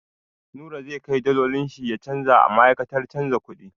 Nura zai kai dalolin shi ya canja a ma'aikatar canja kuɗi.